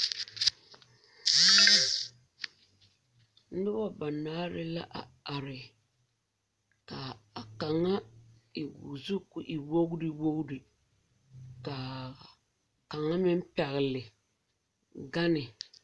Noba banaare la a are. Ka a kanga e o zu k'o e wogre wogre. Ka a kanga meŋ pɛgle ganne.